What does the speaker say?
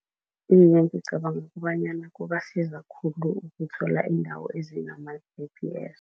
Iye, ngicabanga kobanyana kubasiza khulu ukuthola iindawo ezinama-G_P_S.